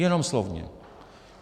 Jenom slovně.